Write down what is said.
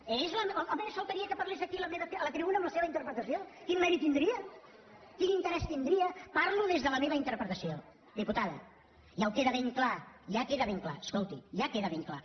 home només faltaria que parlés aquí a la tribuna amb la seva interpretació quin mèrit tindria quin interès tindria parlo des de la meva interpretació diputada ja queda ben clar escolti ja queda ben clar